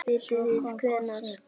Vitið þið hvenær?